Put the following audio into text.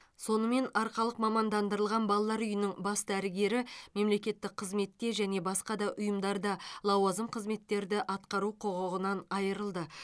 сонымен арқалық мамандандырылған балалар үйінің бас дәрігері мемлекеттік қызметте және басқа да ұйымдарда лауазым қызметтерді атқару құқығынан айырылды